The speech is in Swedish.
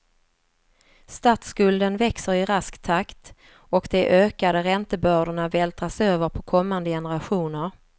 Statsskulden växer i rask takt och de ökade räntebördorna vältras över på kommande generationer.